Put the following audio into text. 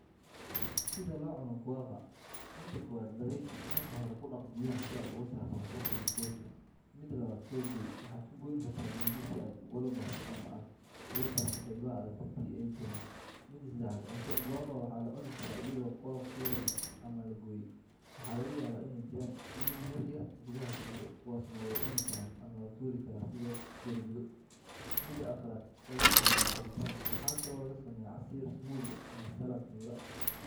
Sida loo cuno Guava:Mida kowaad Nadiifi: Marka hore, ku dhaq biyaha si aad uga saarto wasakhda iyo boodhka. Mida labaad soo gooy: Waxaad ku goyn kartaa mindi si aad u kala barto ama aad uga saarto qaybaha adag haddii ay jiraan. Mida sedexaad Cunto: Guava waa la cuni karaa iyadoo qolofkeeda la leh ama la gooyay. Waxaa laga yaabaa inay jiraan iniin yar yar gudaha ku jira, kuwaasna way cuni karaan ama la tuuri karaa sidaad doorbido. Mida afaraad Laga sameeyaa cabitaan: Waxaa kaloo laga sameeyaa casiir, smoothiga , ama salad miro ah.